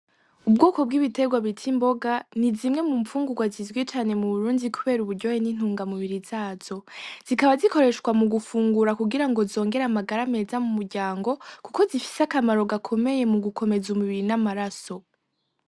Ubwoko bw'ibiterwa bita imboga, ni zimwe mu mfungurwa zizwi cane mu Burundi kubera uburyohe n'intungamubiri zazo. Zikaba zikoreshwa mu gufungura kugira ngo zongere amagara meza mu muryango, kuko zifise akamaro gakomeye mu gukomeza umubiri n'amaraso.